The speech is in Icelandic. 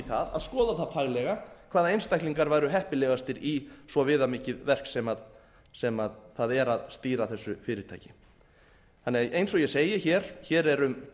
það að skoða það faglega hvaða einstaklingar væru heppilegastir í svo viðamikið verk sem það er að stýra þessu fyrirtæki þannig að eins og ég segi hér hér er